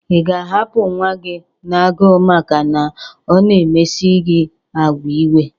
Ị ga-ahapụ nwa gi n'agụụ maka na ọ na-emesi gi agwa iwe?